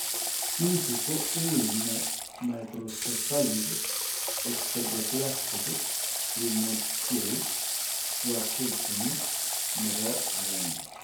Kiinti ko wuuy nee microcephalic osteodysplastic primordial dwarfism nebo 1 ?